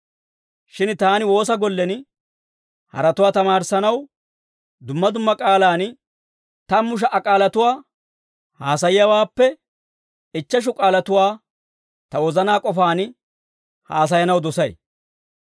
Shin taani woosa gollen haratuwaa tamaarissanaw dumma dumma k'aalaan tammu sha"a k'aalatuwaa haasayiyaawaappe ichcheshu k'aalatuwaa ta wozanaa k'ofaan haasayanaw dosay.